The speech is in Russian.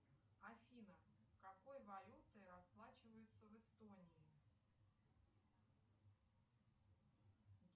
афина какой валютой расплачиваются в эстонии